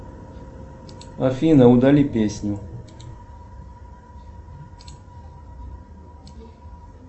афина удали песню